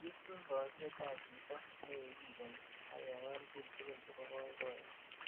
Kikiim bootet ab chito nekikikeni akewal bik tugul chebo boiboyet.